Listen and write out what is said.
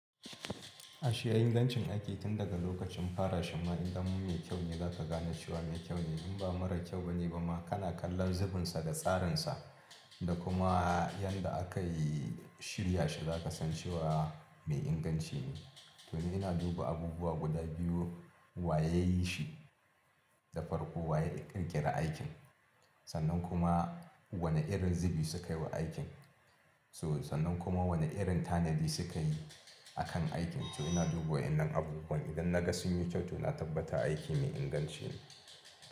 Ai shi ingancin aiki tun daga lokacin fara shi ma idan mume kyau ne za ka gane cewa mai kyau ne in ba mara kyau ba ne ba ma kana kallon zubinsa da tsarinsa da kuma yadda aka yi shirya shi za ka san cewa mai inganci ne. To ni ina duba abubuwa guda biyu wa ya yi shi da farko wa ya ƙirƙira aikin sannan kuma wane irin zubi sukayi wa aikin so sannan kuma wane irin tanadi suka yi akan aikin. So ina duba wayannan abubuwan idan naga sunyi to na tabbata aiki mai inganci ne.